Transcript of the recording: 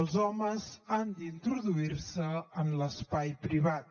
els homes han d’introduir se en l’espai privat